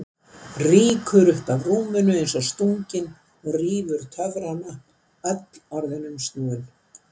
Rýkur upp af rúminu eins og stungin og rýfur töfrana, öll orðin umsnúin.